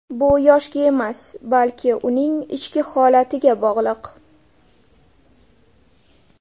Bu yoshga emas, balki uning ichki holatiga bog‘liq.